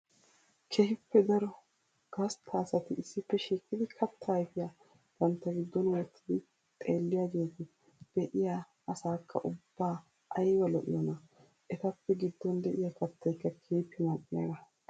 Keehippe daro gastta asatti issippe shiiqqiddi katta ayfiya bantta giddon wottiddi xeelliyagetti be'iya asaaka ubba aybba lo'iyoona! Ettappe gidon de'iya kattaykka keehippe mali'iyaaga!